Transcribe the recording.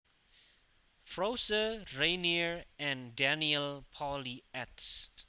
Froese Rainer and Daniel Pauly eds